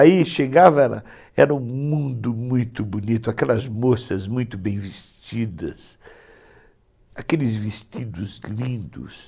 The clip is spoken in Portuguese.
Aí chegava, era um mundo muito bonito, aquelas moças muito bem vestidas, aqueles vestidos lindos.